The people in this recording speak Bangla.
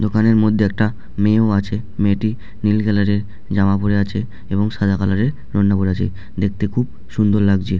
দোকানের মধ্যে একটা মেয়েও আছে মেয়েটি নীল কালার -এর জামা পরে আছে এবং সাদা কালার -এর ওড়না পরে আছে দেখতে খুব সুন্দর লাগছে ।